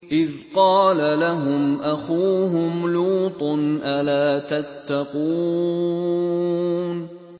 إِذْ قَالَ لَهُمْ أَخُوهُمْ لُوطٌ أَلَا تَتَّقُونَ